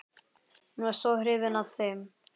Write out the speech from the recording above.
Hún var svo hrifin af þeim.